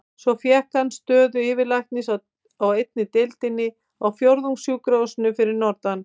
Svo fékk hann stöðu yfirlæknis á einni deildinni á Fjórðungssjúkrahúsinu fyrir norðan.